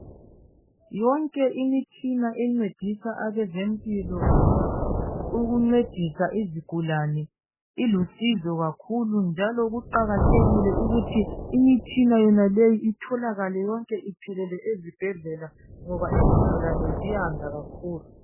Yonke imitshina encedisa abazempilo ukuncedisa izigulane ilusizo kakhulu njalo kuqakathekile ukuthi imitshina yonaleyo itholakale yonke iphelele ezibhedlela ngoba izigulane ziyanda kakhulu.